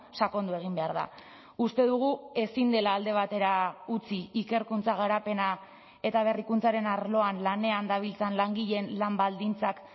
sakondu egin behar da uste dugu ezin dela alde batera utzi ikerkuntza garapena eta berrikuntzaren arloan lanean dabiltzan langileen lan baldintzak